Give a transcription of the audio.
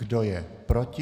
Kdo je proti?